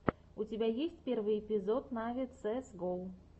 у тебя есть первый эпизод нави цээс го